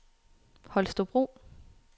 Holstebro